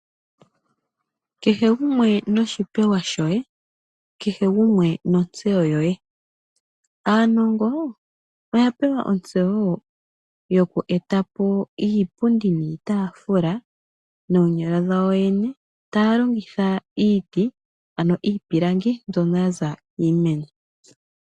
Kehe gumwe noshipewa shoye kehe gumwe nontseyo yoye. Aanongo oya pewa ontseyo yokweeta po iipundi niitaafula noonyala dhawo yene taya longitha iiti ano iipilangi mbyono ya za miimeno.